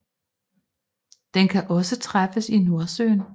Den kan også træffes i Nordsøen